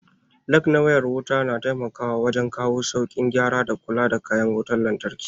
Lag na wayar wuta na taimakawa wajen kawo saukin gyara da kula da kayan wutan lantraki